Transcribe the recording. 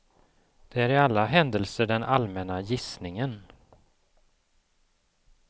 Det är i alla händelser den allmänna gissningen.